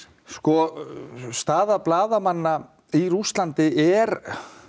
sko staða blaðamanna í Rússlandi er